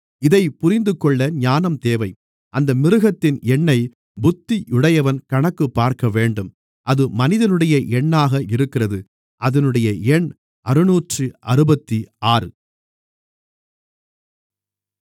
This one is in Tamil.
இதைப் புரிந்துகொள்ள ஞானம் தேவை அந்த மிருகத்தின் எண்ணைப் புத்தியுடையவன் கணக்குப் பார்க்கவேண்டும் அது மனிதனுடைய எண்ணாக இருக்கிறது அதினுடைய எண் அறுநூற்று அறுபத்தி ஆறு 666